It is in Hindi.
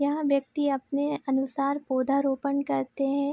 यहाँ व्यक्ति अपने अनुसार पौधा रोपण करते हैं।